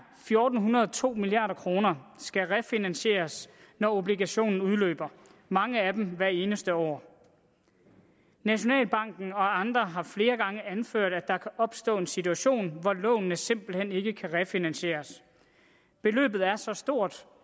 fjorten hundrede og to milliard kroner skal refinansieres når obligationen udløber og mange af dem hvert eneste år nationalbanken og andre har flere gange anført at der kan opstå en situation hvor lånene simpelt hen ikke kan refinansieres beløbet er så stort